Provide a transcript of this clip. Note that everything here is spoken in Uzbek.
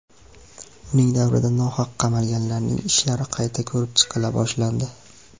Uning davrida nohaq qamalganlarning ishlari qayta ko‘rib chiqila boshlandi.